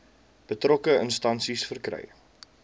betrokke instansie verkry